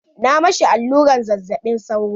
Na ma shi allurar zazzaɓin sauro.